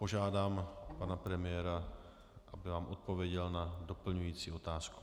Požádám pana premiéra, aby vám odpověděl na doplňující otázku.